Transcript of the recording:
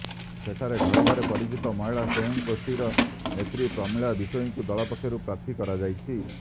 ସେଠାରେ ଘରେ ଘରେ ପରିଚିତ ମହିଳା ସ୍ୱୟଂ ଗୋଷ୍ଠୀର ନେତ୍ରୀ ପ୍ରମିଳା ବିଷୋଇଙ୍କୁ ଦଳ ପକ୍ଷରୁ ପ୍ରାର୍ଥୀ କରାଯାଇଛି